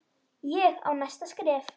Ég á næsta skref.